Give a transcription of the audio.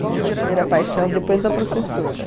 Qual foi a primeira paixão depois da professora?